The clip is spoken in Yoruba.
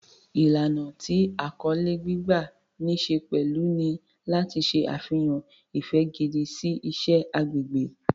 Ìlànà tí àkọlé gbígbà ní ṣe pẹ̀lú ni láti ṣe àfihàn ìfẹ́ gidi sí iṣẹ́ agbègbè.